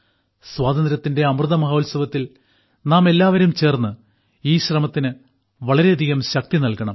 സ്വാതന്ത്ര്യത്തിന്റെ അമൃതമഹോത്സവത്തിൽ നാമെല്ലാവരും ചേർന്ന് ഈ ശ്രമത്തിന് വളരെയധികം ശക്തി നൽകണം